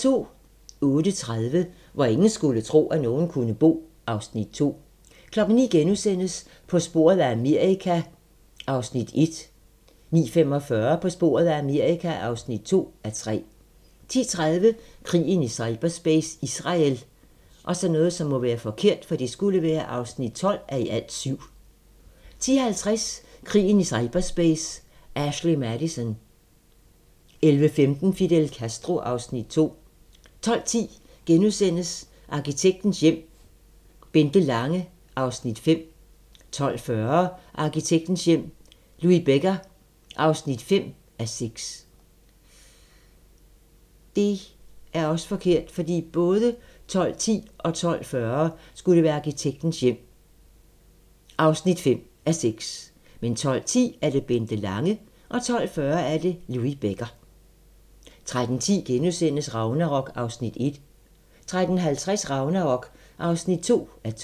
08:30: Hvor ingen skulle tro, at nogen kunne bo (Afs. 2) 09:00: På sporet af Amerika (1:3)* 09:45: På sporet af Amerika (2:3) 10:30: Krigen i cyberspace - Israel (12:7) 10:50: Krigen i cyberspace - Ashley Madison 11:15: Fidel Castro (Afs. 2) 12:10: Arkitektens hjem - Bente Lange (5:6)* 12:40: Arkitektens hjem - Louis Becker (5:6) 13:10: Ragnarok (1:2)* 13:50: Ragnarok (2:2)